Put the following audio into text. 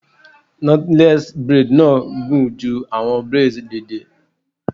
Knotless braid na gun ju awọn braids deede